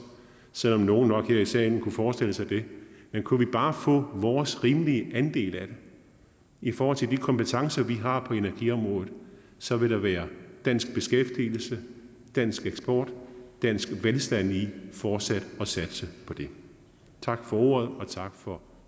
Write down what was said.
selv om nogle her i salen nok kunne forestille sig det men kunne vi bare få vores rimelige andel af det i forhold til de kompetencer vi har på energiområdet så vil der være dansk beskæftigelse dansk eksport og dansk velstand i fortsat at satse på det tak for ordet og tak for